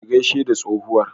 Ka gaishe da tsohuwar.